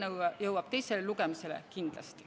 Kui eelnõu jõuab teisele lugemisele, siis kindlasti.